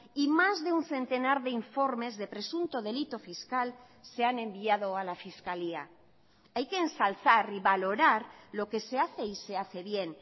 y más de un centenar de informes de presunto delito fiscal se han enviado a la fiscalía hay que ensalzar y valorar lo que se hace y se hace bien